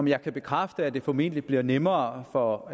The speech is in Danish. jeg kan bekræfte at det formentlig bliver nemmere for